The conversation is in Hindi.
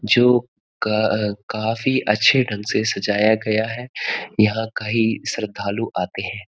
जो का काफी अच्छे ढंग से सजाया गया है यहाँ कई श्रद्धालु आते हैं।